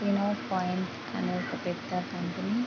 point అనే ఒక పెద్ద కంపెనీ --